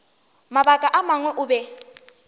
mabaka a mangwe o be